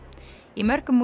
í mörgum